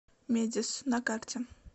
медис на карте